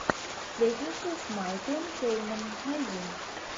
сплетница с майклом кейном найди